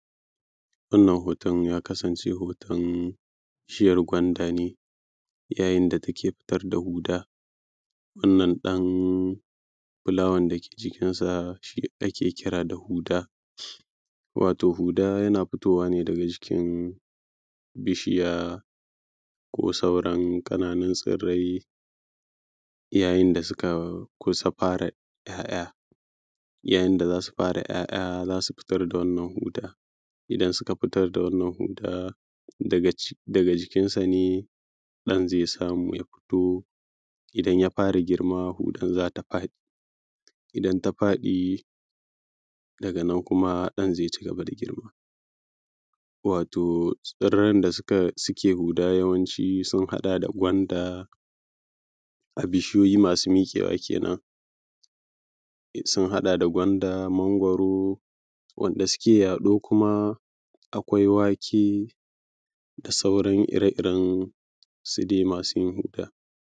wannan hoton ya kasance hoton bishijyar gwanda ne yayin da take fitar da huda wannan ɗan fulawan da ke jikinsa shi ake kira da huda wato huda yana fitowa ne daga jikin bishiya ko sauran ƙananun tsirrai yayin da suka kusa fara ‘ya’ya yayin da za su fara ‘ya’ya za su fitar da wannan huda idan suka fitar da wannan huda daga jikinsa ne ɗan zai samu ya fito idan ya fara girma hudar za ta faɗi idan ta faɗi daga nan kuma ɗan zai ci gaba da girma wato tsirran da suke huda yawanci sun haɗa da gwanda a bishiyoyi masu miƙewa kenan sun haɗa da gwanda mangwaro wanda suke yaɗo kuma akwai wake da sauran ire iren su dai masu huda